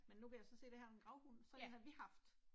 Men nu kan jeg så se det her er en gravhund. Sådan én har vi haft